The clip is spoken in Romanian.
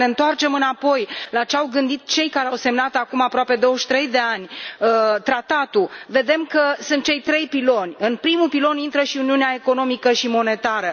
Dacă ne întoarcem înapoi la ce au gândit cei care au semnat acum aproape 23 de ani tratatul, vedem că sunt cei trei piloni în primul pilon intră și uniunea economică și monetară.